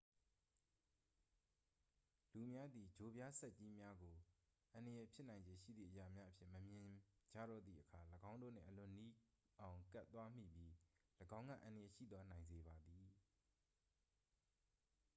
လူများသည် ချိုပြားဆတ်ကြီးများကို အန္တရာယ်ဖြစ်နိုင်ခြေရှိသည့်အရာများအဖြစ် မမြင်မိကြတော့သည့်အခါ ၎င်းတို့နှင့် အလွန်နီးအောင် ကပ်သွားမိပြီး ၎င်းကအန္တရာယ်ရှိသွားနိုင်စေပါသည်